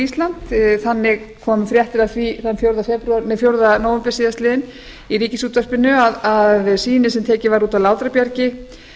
ísland þannig komu fréttir af því þann fjórða nóvember síðastliðinn í ríkisútvarpinu að sýni sem tekið var út af látrabjargi